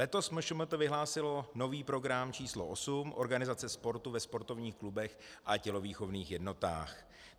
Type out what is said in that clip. Letos MŠMT vyhlásilo nový program číslo osm Organizace sportu ve sportovních klubech a tělovýchovných jednotách.